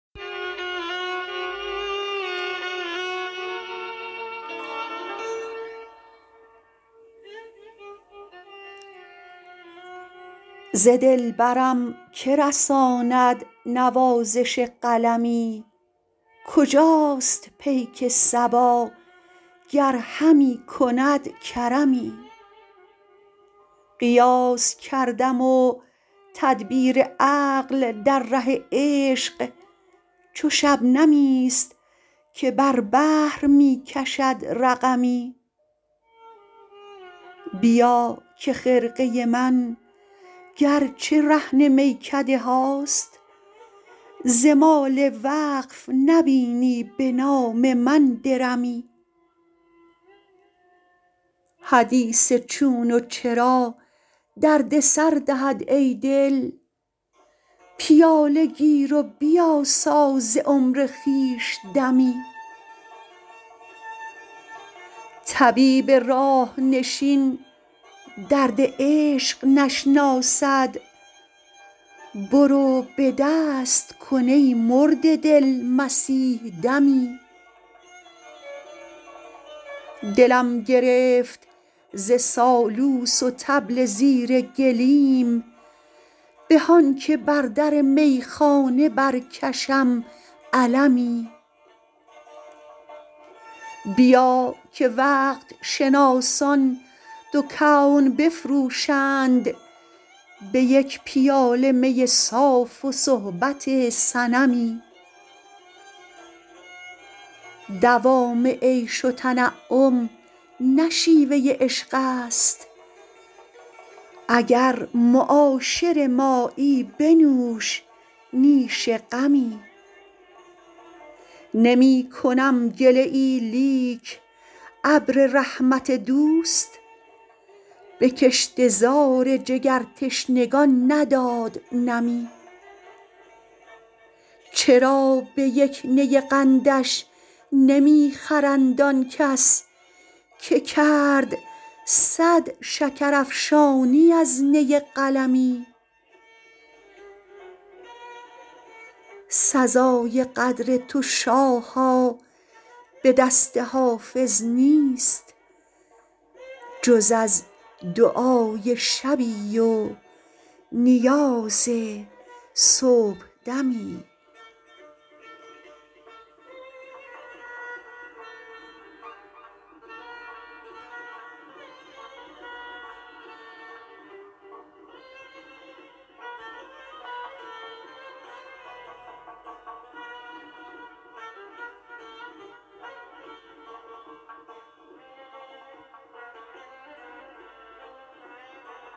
ز دلبرم که رساند نوازش قلمی کجاست پیک صبا گر همی کند کرمی قیاس کردم و تدبیر عقل در ره عشق چو شبنمی است که بر بحر می کشد رقمی بیا که خرقه من گر چه رهن میکده هاست ز مال وقف نبینی به نام من درمی حدیث چون و چرا درد سر دهد ای دل پیاله گیر و بیاسا ز عمر خویش دمی طبیب راه نشین درد عشق نشناسد برو به دست کن ای مرده دل مسیح دمی دلم گرفت ز سالوس و طبل زیر گلیم به آن که بر در میخانه برکشم علمی بیا که وقت شناسان دو کون بفروشند به یک پیاله می صاف و صحبت صنمی دوام عیش و تنعم نه شیوه عشق است اگر معاشر مایی بنوش نیش غمی نمی کنم گله ای لیک ابر رحمت دوست به کشته زار جگرتشنگان نداد نمی چرا به یک نی قندش نمی خرند آن کس که کرد صد شکرافشانی از نی قلمی سزای قدر تو شاها به دست حافظ نیست جز از دعای شبی و نیاز صبحدمی